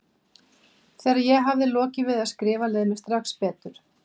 Þegar ég hafði lokið við að skrifa leið mér strax betur.